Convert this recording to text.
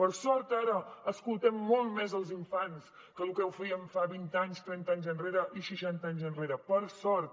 per sort ara escoltem molt més els infants que el que ho feien fa vint anys trenta anys enrere i seixanta anys enrere per sort